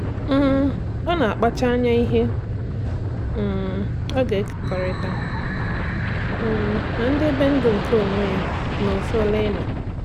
um Ọ́ nà-àkpàchá ányá ihe um ọ́ gà-èkèkọ́rị́ta, um nà-èdèbé ndụ́ nke onwe ya n’òfùlaịnụ̀.